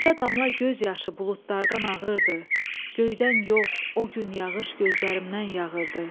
Bircə damla göz yaşı buludlardan ağırdı, göydən yox, o gün yağış gözlərimdən yağırdı.